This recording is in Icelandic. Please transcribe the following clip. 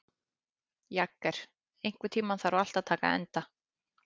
Jagger, einhvern tímann þarf allt að taka enda.